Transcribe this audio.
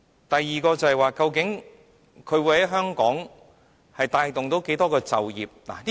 第二，究竟會在香港帶動多少就業機會？